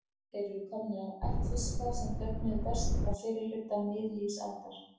Þeir eru komnir af ætt fiska sem döfnuðu best á fyrri hluta miðlífsaldar.